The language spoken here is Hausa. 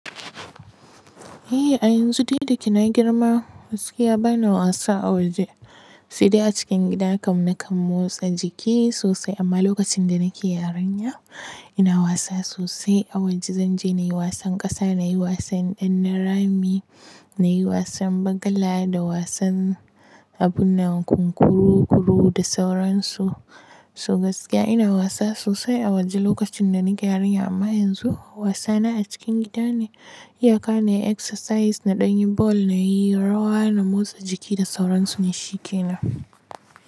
Eh a yanzu dai dayke na girma gaskiya bana wasa a waje sai dai a cikin gidana kam na kam motsa jiki sosai amma lokacin da nake yarinya ina wasa sosai a waje. Zanje nayi wasan kasa, nayi wasan ɗannarami, nayi wasan bagala da wasan abunnan kunkuru kuru da sauransu. So gaskiya ina wasa sosai a waje lokacin da nake yarinya amma yanzu wasana a cikin gida ne. Iyaka ne exercise na ɗan yi ball nayi rawa na motsa jiki da sauransu nay shikena.